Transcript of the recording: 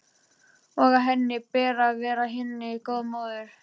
Og að henni ber að vera henni góð móðir.